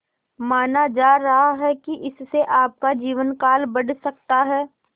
माना जा रहा है कि इससे आपका जीवनकाल बढ़ सकता है